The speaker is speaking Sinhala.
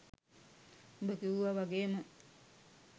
උඹ කිව්වා වගේම